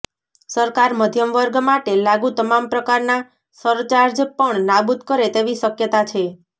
સરકાર મધ્યમ વર્ગ માટે લાગુ તમામ પ્રકારના સરચાર્જ પણ નાબુદ કરે તેવી શકયતા છે